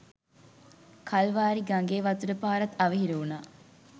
කල්වාරි ගඟේ වතුර පාරත් අවහිර වුණා..